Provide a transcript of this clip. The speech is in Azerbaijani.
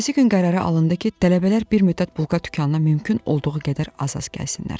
Ertəsi gün qərara alındı ki, tələbələr bir müddət bulka dükanına mümkün olduğu qədər az-az gəlsinlər.